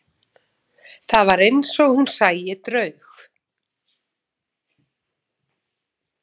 Það var eins og hún sæi draug.